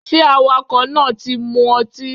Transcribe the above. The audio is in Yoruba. ṣe awakọ náà tí mó ọtí?